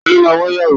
Ta ló máa wa ìyàwó?